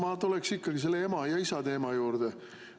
Ma tuleksin ikkagi selle ema ja isa teema juurde.